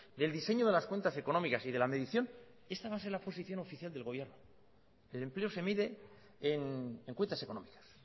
del diseño de las cuentas económicas y de la medición esta va a ser la posición oficial del gobierno el empleo se mide en cuentas económicas